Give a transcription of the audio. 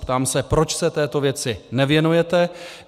Ptám se, proč se této věci nevěnujete.